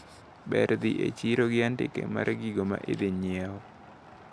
Ber dhi e chiro gi andike mar gigo maidhi nyiewo.